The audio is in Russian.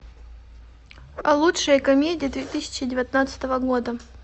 лучшие комедии две тысячи девятнадцатого года